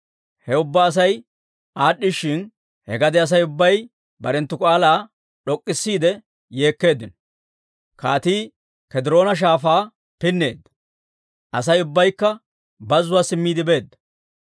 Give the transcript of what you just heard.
He ubbaa Asay aad'd'ishshin, he gade Asay ubbay barenttu k'aalaa d'ok'k'isiide yeekkeeddino; kaatii K'ediroona Shaafaa pinneedda; Asay ubbaykka bazuwaa simmiide beedda.